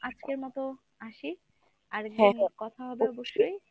আজকের মত আসি? আরেকদিন কথা হবে অবশ্যই।